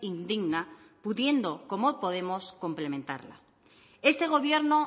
indigna pudiendo como podemos complementarla este gobierno